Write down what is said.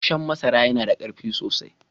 Gassanshen masaran ya na da karfi sosai.